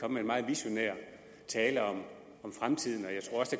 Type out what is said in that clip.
med en meget visionær tale om fremtiden